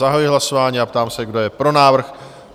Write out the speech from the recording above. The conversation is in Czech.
Zahajuji hlasování a ptám se, kdo je pro návrh?